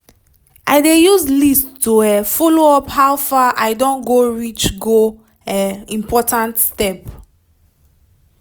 i dey use list to um follow up how far i don go reach go um important step